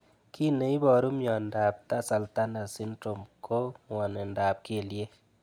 Kiy neiparu miondo ap tarsal tunnel syndrom ko ng'wonindop kelyek